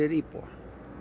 íbúa